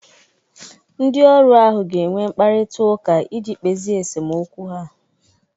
Ndị ọrụ ahụ ga-enwe mkparịtaụka iji kpezie esemokwu ha.